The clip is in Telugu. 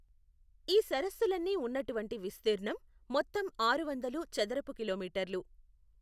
ఈ సరస్సులన్నీ ఉన్నటువంటి విస్తీర్ణం మొత్తం ఆరు వందలు చదరపు కిలోమీటర్లు.